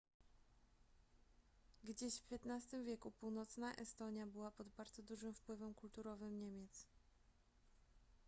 gdzieś w xv wieku północna estonia była pod bardzo dużym wpływem kulturowym niemiec